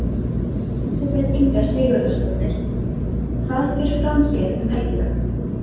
Elísabet Inga Sigurðardóttir: Hvað fer fram hér um helgina?